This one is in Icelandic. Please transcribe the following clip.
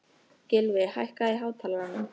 Gylfi, hækkaðu í hátalaranum.